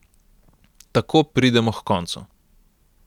Tako pridemo h koncu.